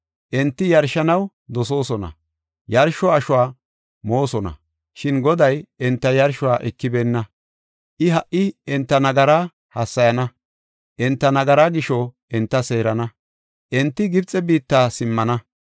Enti yarshanaw dosoosona; yarsho ashuwa moosona, shin Goday enta yarshuwa ekibeenna. I ha77i enta nagara hassayana; enta nagaraa gisho enta seerana; enti Gibxe biitta simmana.